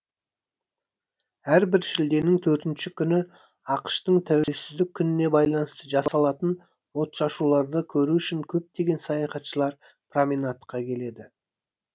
әрбір шілденің төртінші күні ақш тың тәуелсіздік күніне байланысты жасалатын отшашуларды көру үшін көптеген саяхатшылар променадқа келеді